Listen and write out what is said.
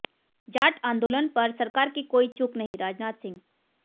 जाट आंदोलन पर सरकार की कोई चूक नहींः राजनाथ सिंह